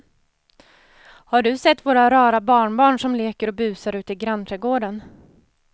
Har du sett våra rara barnbarn som leker och busar ute i grannträdgården!